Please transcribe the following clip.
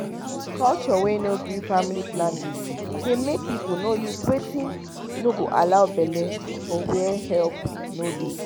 culture wey no gree family planning dey make people no use watin no go allow bele for where help no dey